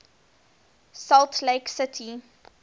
salt lake city